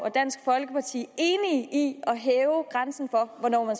og dansk folkeparti enige i at hæve grænsen for hvornår man